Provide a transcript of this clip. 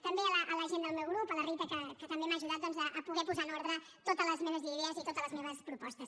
també a la gent del meu grup a la rita que també m’ha ajudat doncs a poder posar en ordre totes les meves idees i totes les meves propostes